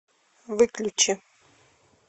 выключи